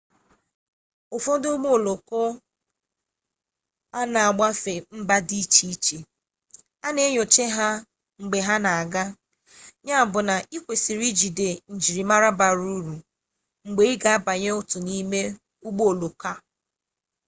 n'ufodu ugbo oloko n'agafe mba di iche iche ana enyocha ha mgbe ha na gbaa ya bu na ikwesiri ijide njirimara bara uru mgbe iga abanye otu n'imeugbo oloko ahu